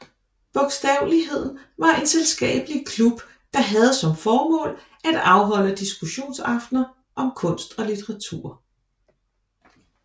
Bogstaveligheden var en selskabelig klub der havde som formål at afholde diskussionsaftner om kunst og litteratur